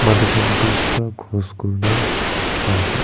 tu khan bridge bra cross kurena dekhe pase.